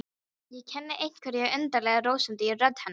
Ég kenni einhverja undarlega rósemd í rödd hennar.